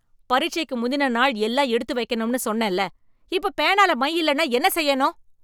பரீட்சைக்கு முந்தின நாள் எல்லாம் எடுத்து வைக்கணும்னு சொன்னேன்ல, இப்ப பேனால மை இல்லன்னா என்ன செய்யணும்?